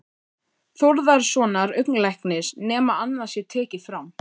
Þórðarsonar augnlæknis, nema annað sé tekið fram.